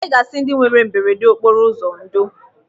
Anyị ga-asị ndị nwere mberede okporo ụzọ ndo.